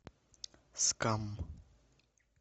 скам